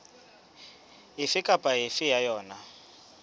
efe kapa efe ya yona